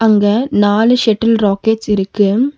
இங்க நாலு shuttle rackets இருக்கு.